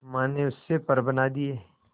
मां ने उससे पर बना दिए